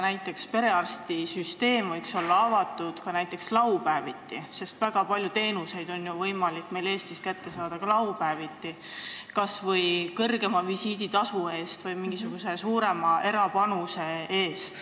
Näiteks võiks perearstikeskused olla avatud ka laupäeviti, sest väga paljusid teenuseid on meil Eestis võimalik kätte saada ka laupäeviti, kas või kõrgema visiiditasu eest või mingisuguse suurema erapanuse eest.